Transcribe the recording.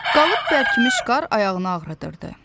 Qalıb bərkimiş qar ayağını ağrıdırdı.